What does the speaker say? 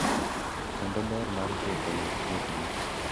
Kendo ber mar chopo machiegni gi mesa gi chuny mobolore.